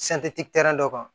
dɔ kan